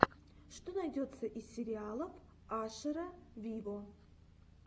что найдется из сериалов ашера виво